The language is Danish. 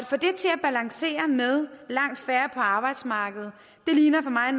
balancere med langt færre på arbejdsmarkedet ligner for mig